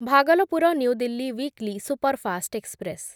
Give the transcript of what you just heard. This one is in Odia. Bhagalpur new Delhi weekly superfast express